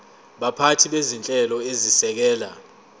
baphathi bezinhlelo ezisekela